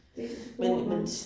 Det går nok